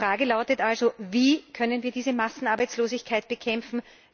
Die Fragen lauten also Wie können wir diese Massenarbeitslosigkeit bekämpfen?